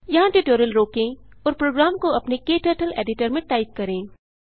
यहाँ ट्यूटोरियल रोकें और प्रोग्राम को अपने क्टर्टल एडिटर में टाइप करें